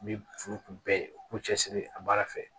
Ni furu kun bɛɛ k'u cɛsiri a baara fɛ